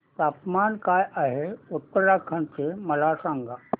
तापमान काय आहे उत्तराखंड चे मला सांगा